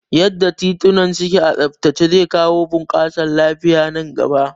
Yanda tituna suke a tsabtace zai bunƙasa lafiya nan gaba